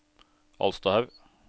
Alstahaug